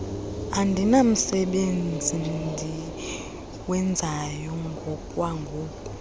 andinamsebenzi ndiwenzayo ngokwangoku